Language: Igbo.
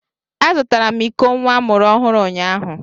Azụtara m iko nwa amụrụ ọhụrụ unyaahụ.